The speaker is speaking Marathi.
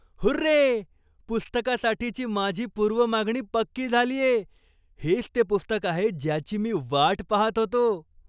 हुर्रे! पुस्तकासाठीची माझी पूर्व मागणी पक्की झालीये. हेच ते पुस्तक आहे ज्याची मी वाट पाहत होतो.